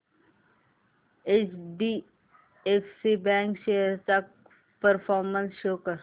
HDFC bank shares चा performance show कर